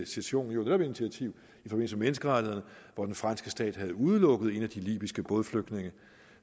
session netop initiativ i forbindelse med menneskerettighederne hvor den franske stat havde udelukket en af de libyske bådflygtninge